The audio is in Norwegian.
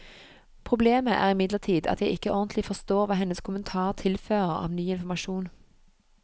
Problemet er imidlertid at jeg ikke ordentlig forstår hva hennes kommentar tilfører av ny informasjon.